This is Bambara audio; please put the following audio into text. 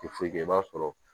Ti foyi kɛ i b'a sɔrɔ